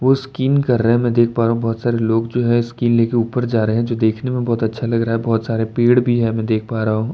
वो स्कीइंग कर रहे हैं मैं देख पा रहा हूं भोत सारे लोग जो हैं स्किल ले के ऊपर जा रहे हैं जो देखने में भोत अच्छा लग रहा है भोत सारे पेड़ भी हैं मैं देख पा रहा हूं।